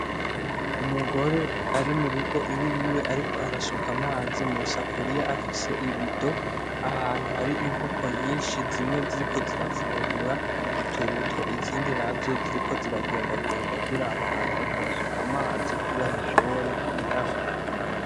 Umugore ari murugo iwiwe ariko arasuka amazi mu safuriya afise ibido ahantu hari inkoko nyishi zimwe ziriko zirafungura itoroto izindi nazo ziriko ziragendagenda ziraba ahantu ariko arasuka amazi kugira zishobore kuyanwa.